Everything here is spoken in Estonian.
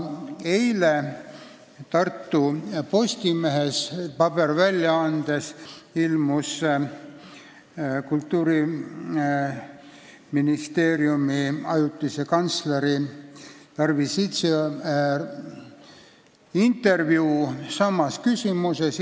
Eile ilmus Tartu Postimehe paberväljaandes Kultuuriministeeriumi ajutise kantsleri Tarvi Sitsi intervjuu samas küsimuses.